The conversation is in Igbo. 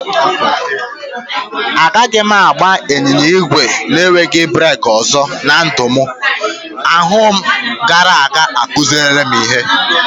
Agaghị m agba ịnyịnya ígwè na-enweghị breeki ọzọ na ndụ m dum, ahụmahụ m gara aga akụziworo ihe.